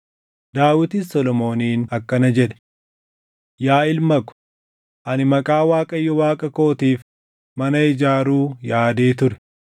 Daawitis Solomooniin akkana jedhe: “Yaa ilma ko, ani Maqaa Waaqayyo Waaqa kootiif mana ijaaruu yaadee ture.